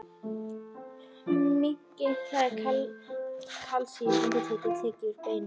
Minnki það er kalsíum undireins tekið úr beinum.